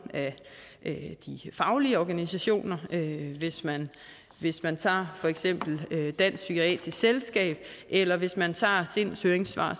af de faglige organisationer hvis man hvis man tager for eksempel dansk psykiatrisk selskab eller hvis man tager sinds høringssvar